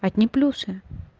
одни плюсы